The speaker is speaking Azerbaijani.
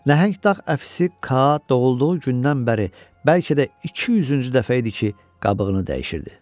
Nəhəng dağ əfisi Ka doğulduğu gündən bəri bəlkə də 200-cü dəfə idi ki, qabığını dəyişirdi.